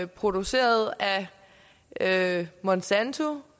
produceret af monsanto